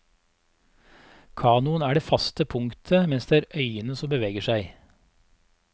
Kanoen er det faste punktet mens det er øyene som beveger seg.